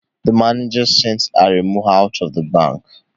The manager sent Aremu out of the bank